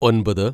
ഒൻപത്